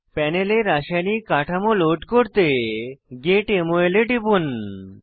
প্যানেলে রাসায়নিক কাঠামো লোড করতে গেট মল এ টিপুন